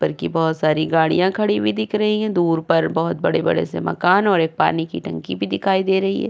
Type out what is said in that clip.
पर की बहुत सारी गाड़ियां खड़ी हुई दिख रही हैं। दूर पर बहुत से बड़े-बड़े मकान और पानी की टंकी भी दिखाई दे रही है।